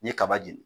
N ye kaba jeni